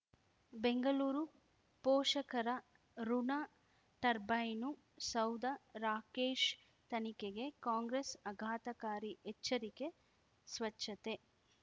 ಬೆಂಗಳೂರು ಪೋಷಕರಋಣ ಟರ್ಬೈನು ಸೌಧ ರಾಕೇಶ್ ತನಿಖೆಗೆ ಕಾಂಗ್ರೆಸ್ ಆಘಾತಕಾರಿ ಎಚ್ಚರಿಕೆ ಸ್ವಚ್ಛತೆ